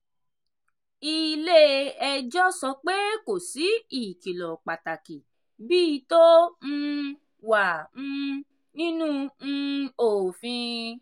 ilé-ẹjọ́ sọ pé kò sí ìkìlọ pàtàkì bíi tó um wà um nínú um òfin.